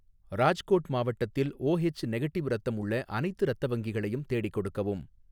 ராஜ்கோட் மாவட்டத்தில் O H negative இரத்தம் உள்ள அனைத்து இரத்த வங்கிகளையும் தேடிக் கொடுக்கவும்